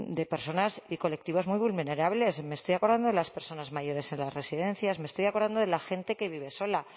de personas y colectivos muy vulnerables me estoy acordando de las personas mayores en las residencias me estoy acordando de la gente que vive sola a